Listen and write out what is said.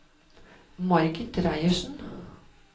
Margit Reiersen